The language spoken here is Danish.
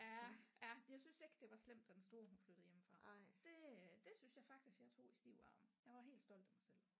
Ja ja jeg synes ikke det var slemt da den store hun flyttede hjemmefra det øh det synes jeg faktisk jeg tog i stiv arm jeg var helt stolt af mig selv